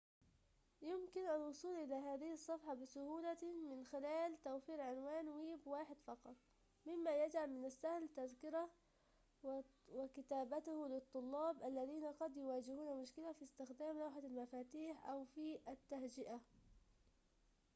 يمكن الوصول إلى هذه الصفحة بسهولة من خلال توفير عنوان ويب واحد فقط مما يجعل من السهل تذكره وكتابته للطلاب الذين قد يواجهون مشكلة في استخدام لوحة المفاتيح أو في التهجئة